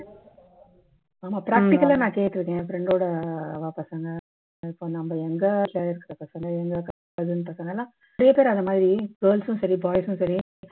practical லா நான் கேட்டு இருக்கேன் என் friend டோட அவா பசங்க இப்போ நம்ம எங்க later அந்த மாதிரி girls சும் சரி boys சும் சரி